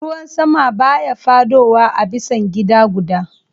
Ruwan sama baya fadowa a bisan gida gudda.